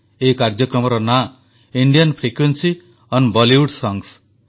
ଏହି କାର୍ଯ୍ୟକ୍ରମର ନାଁ ଇଣ୍ଡିଆନ୍ ଫ୍ରିକ୍ୱେନ୍ସି ଓଏନ୍ ବଲିଉଡ୍ ସଂସ